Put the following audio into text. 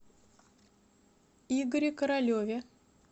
игоре королеве